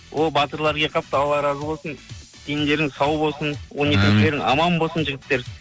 о батырлар келіп қапты алла разы болсын дендерің сау болсын амин он екі мүшелерің аман болсын жігіттер